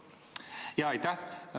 Aitäh!